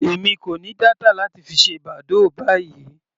Èmi kò ní data láti fi ṣe badoo báyìí.